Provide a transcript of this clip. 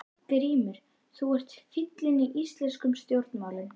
GRÍMUR: Þú ert fíllinn í íslenskum stjórnmálum!